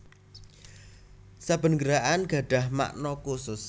Saben gerakan gadhah makna khusus